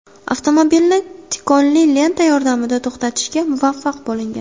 Avtomobilni tikonli lenta yordamida to‘xtatishga muvaffaq bo‘lingan.